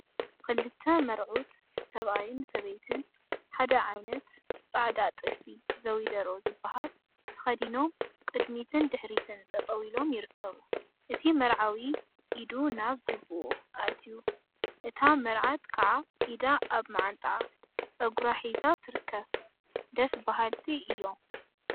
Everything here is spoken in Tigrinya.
ክልተ መርዑት /ሰብአይን ሰበይቲን/ ሓደ ዓይነት ፃዕዳ ጥልፊ ዘዊደሮ ዝበሃል ተከዲኖም ቅድሚትን ድሕሪትን ጠጠው ኢሎም ይርከቡ። እቲ መርዓዊ ኢዱ ናብ ጅብኡ አእትዮ እታ መርዓት ከዓ ኢዳ አብ መዓንጣአን ፀጉራ ሒዛን ትርከብ። ደስ በሃልቲ እዮም።